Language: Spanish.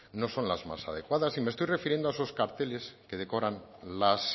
no son las más adecuadas y me estoy refiriendo a esos carteles que decoran las